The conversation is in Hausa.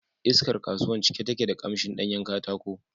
Iskar kasuwan cike take da ƙamshin ɗanyen katako